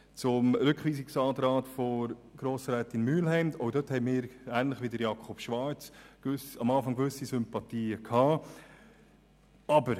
Zum Rückweisungsantrag von Grossrätin Mühlheim: Für diesen haben auch wir, ähnlich wie Jakob Schwarz, am Anfang gewisse Sympathien gehabt.